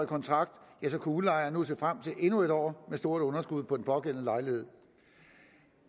kontrakt kunne udlejer nu se frem til endnu en år med stort underskud på den pågældende lejlighed